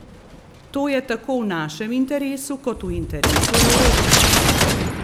To je tako v našem interesu kot v interesu Evrope.